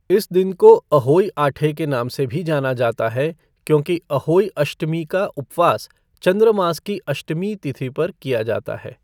इस दिन को अहोई आठे के नाम से भी जाना जाता है क्योंकि अहोई अष्टमी का उपवास चंद्र मास की अष्टमी तिथि पर किया जाता है।